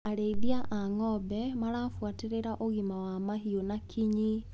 Arĩithia a ngombe marabuatĩrĩra ũgima wa mahiũ na kinyi.